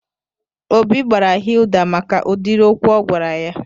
Obi gbaara Hilda maka udiri okwu o gwara ya